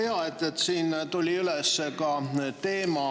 Väga hea, et siin tuli üles teema,